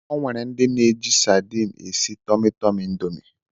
O nwere ndị na -eji sadine esị Tumi Tumi indomie.